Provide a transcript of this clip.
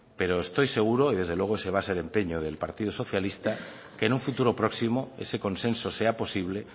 pero estoy seguro y desde luego ese va a ser el empeño del partido socialista que en un futuro próximo ese consenso sea posible